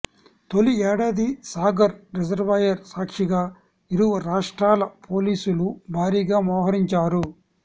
తొలి ఏడాది సాగర్ రిజర్వాయర్ సాక్షిగా ఇరు రాష్ట్రాల పోలీసులు భారీగా మోహరించారు